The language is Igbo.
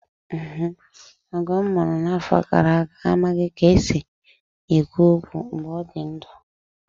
Ọgọ m nwụrụ n'afọ gara aga amaghị ka e si ekwu okwu mgbe ọ dị ndụ.